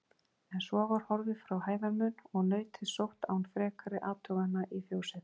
En svo var horfið frá hæðarmun og nautið sótt án frekari athugana í fjósið.